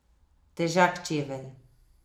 Težak čevelj.